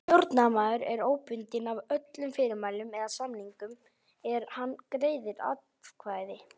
Stjórnarmaður er óbundinn af öllum fyrirmælum eða samningum er hann greiðir atkvæði.